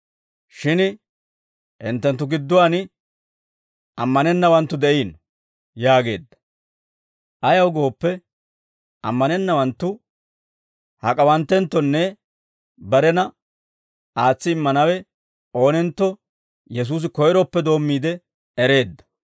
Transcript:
Shin hinttenttu gidduwaan ammanennawanttu de'iino» yaageedda; ayaw gooppe, ammanennawanttu hak'awanttenttonne barena aatsi immanawe oonentto Yesuusi koyroppe doommiide ereedda.